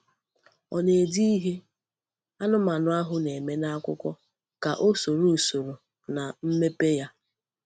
Ọ na-ede ihe anụmanụ ahụ na-eme n’akwụkwọ ka o soro usoro na mmepe ya.